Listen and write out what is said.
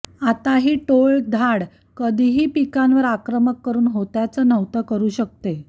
आता ही टोळधाड कधीही पिकांवर आक्रमक करून होत्याचं नव्हतं करू शकते